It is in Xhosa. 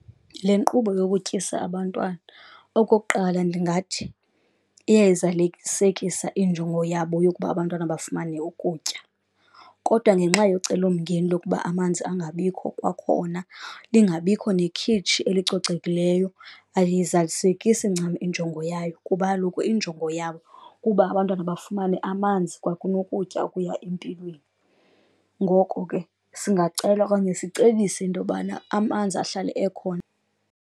Le nkqubo yokutyisa abantwana. Okokuqala, ndingathi iyayizalisekisa injongo yabo yokuba abantwana bafumane ukutya, kodwa ngenxa yocelomngeni lokuba amanzi angabikho kwakhona lingabikho nekhitshi elicocekileyo aliyizalisekisi ncam injongo yayo. Kuba kaloku injongo yabo kuba abantwana bafumane amanzi kwakunokutya okuya empilweni. Ngoko ke singacela okanye sicebise into yobana amanzi ahlale ekhona.